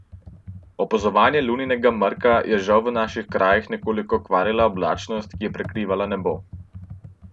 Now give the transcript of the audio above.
Opazovanje Luninega mrka je žal v naših krajih nekoliko kvarila oblačnost, ki je prekrivala nebo.